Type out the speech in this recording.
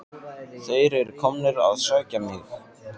Þeir eru komnir að sækja mig.